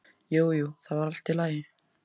Jú, jú, það var allt í lagi.